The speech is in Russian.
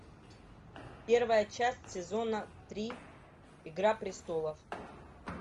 первая часть сезона три игра престолов